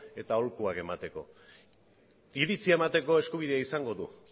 eta aholkuak emateko iritzia emateko eskubidea izango du